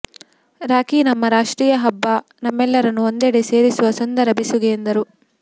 ರಾಖೀ ನಮ್ಮ ರಾಷ್ಟ್ರೀಯ ಹಬ್ಬ ನಮ್ಮೆಲ್ಲರನ್ನು ಒಂದೆಡೆ ಸೇರಿಸುವ ಸುಂದರ ಬೆಸುಗೆ ಎಂದರು